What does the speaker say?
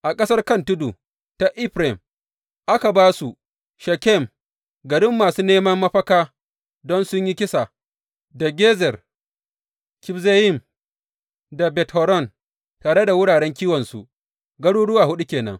A ƙasar kan tudu ta Efraim, aka ba su, Shekem garin masu neman mafaka don sun yi kisa da Gezer, Kibzayim da Bet Horon, tare da wuraren kiwonsu, garuruwa huɗu ke nan.